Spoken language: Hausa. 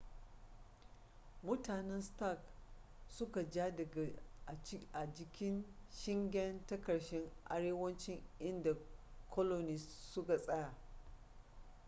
mutanen stark suka ja daga a jikin shingen ta karshen arewacin inda colonist suka tsaya